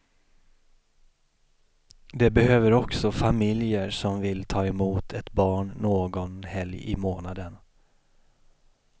De behöver också familjer som vill ta emot ett barn någon helg i månaden.